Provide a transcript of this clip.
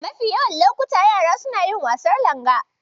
Mafi yawan lokuta, yara suna yin wasan Langa.